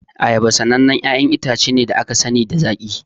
Ayaba sanannen 'ya'yan itace ne da aka sani da zaƙi.